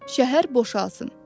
Şəhər boşalsın.